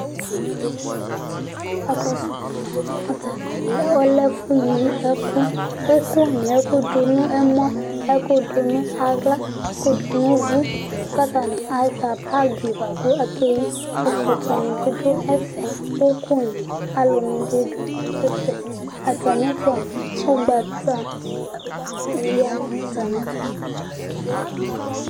ɛfu yɛ kò wo kakɔsu yɛ moa atani lɛ ɔlɛ ɛfu yi ɛkò k'ɛkò ni ɛkò do no ɛmɔ ɛkò do no ala ɛkò do no uvò k'atani asua bag boa kò akeyi ɛkɔtɔ ni bi do ɛfɛ òkò ni alo ni bi do ɛfɛ atami ɛto ugbata ya no atami ɛto